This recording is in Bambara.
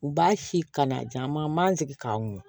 U b'a si kana jan ma n man sigi k'a mun